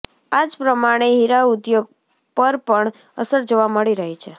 આ જ પ્રમાણે હીરાઉદ્યોગ પર પણ અસર જોવા મળી રહી છે